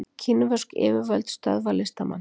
Kínversk yfirvöld stöðva listamann